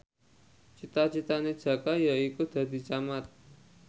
cita citane Jaka yaiku dadi camat